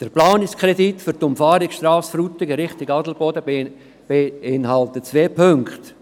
Der Planungskredit für die Umfahrungsstrasse Frutigen in Richtung Adelboden beinhaltet zwei Punkte: